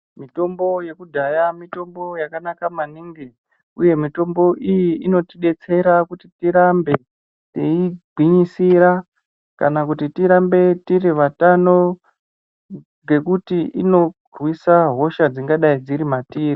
Mitombo yekudhaya mitombo yakanaka maningi uye mitombo iyi inotidetsera kuti tirambe teigwinyisira kana kuti tirambe tiri vatano. Ngekuti inorwisa hosha dzingadai dziri matiri.